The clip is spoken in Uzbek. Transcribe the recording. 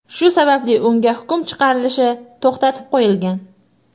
Shu sababli unga hukm chiqarilishi to‘xtatib qo‘yilgan.